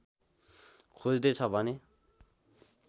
खोज्दैछ भने